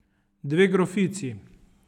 Dve grofici.